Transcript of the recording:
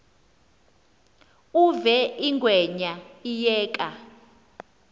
uve ingwenya iyeka